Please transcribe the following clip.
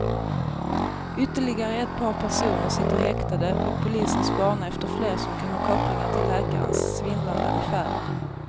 Ytterligare ett par personer sitter häktade och polisen spanar efter fler som kan ha kopplingar till läkarens svindlande affärer.